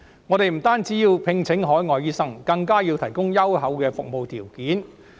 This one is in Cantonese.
我們不僅需要聘請海外醫生，更要提供優厚的服務條件。